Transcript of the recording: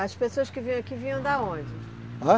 As pessoas que vinham aqui vinham da onde? Ã?